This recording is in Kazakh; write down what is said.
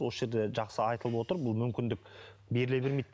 осы жерде жақсы айтылып отыр бұл мүмкіндік беріле бермейді